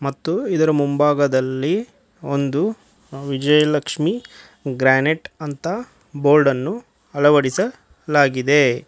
ಮತ್ತು ಇದರ ಮುಂಭಾಗದಲ್ಲಿ ಒಂದು ವಿಜಯಲಷ್ಮಿ ಗ್ರಾನೆಟ್ ಅಂತ ಬೋರ್ಡ ನ್ನು ಅಳವಡಿಲಾಗಿದೆ.